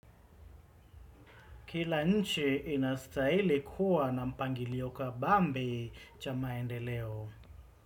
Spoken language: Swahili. Kila nchi inastahili kuwa na mpangilio kabambe cha maendeleo.